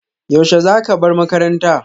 Yaushe za ka bar makaranta?